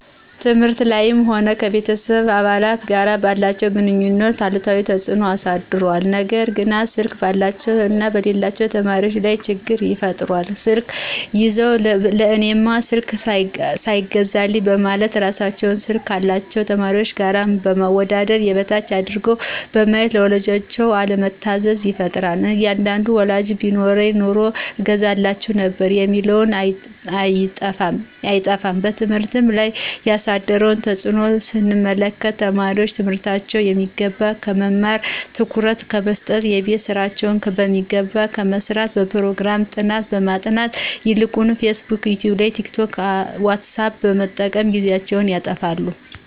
ትምህርት ላይም ሆነ ከቤተሰብ አባላት ጋር ባላቸው ግንኙነት አሉታዊ ተጽኖ አሳድሯል። ገና ስልክ ባላቸው እና በሌላቸው ተማሪዎች ላይ ችግር ይፈጥራል ስልክ ይዘው ለእኔማ ስልክ ሳይገዛልኝ በማለት እራሳቸውን ስልክ ካላቸው ተማሪዎች ጋር በማወዳደር የበታች አድርገው በማየት ለወላጆቻቸው አለመታዘዝን ይፈጥራል አንዳንድ ወላጆችም ቢኖረኝ ኑሮ እገዛላችሁ ነበር የሚሉ አይጠፉም። በትምህርት ላይ ያሳደረውን ተጽኖ ስንመለከት ተማሪዎች ትምህርታቸውን በሚገባ ከመማርና ትኩረት ከመሰጠት :የቤት ስራቸውን በሚገባ ከመስራትና በፕሮግራም ጥናት ከማጥናት ይልቅ ፌስቡክ :ይቲዩብ :ቲክቶክ: ዎትሳፕ በመጠቀም ጊዜያቸውን ያጠፋሉ